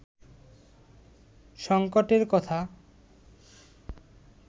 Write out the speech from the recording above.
সঙ্কটের কথা